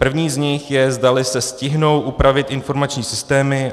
První z nich je, zdali se stihnou upravit informační systémy.